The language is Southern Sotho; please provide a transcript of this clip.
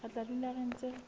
re tla dula re ntse